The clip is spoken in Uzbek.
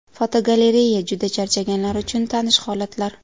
Fotogalereya: Juda charchaganlar uchun tanish holatlar.